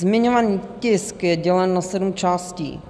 Zmiňovaný tisk je dělen na sedm částí.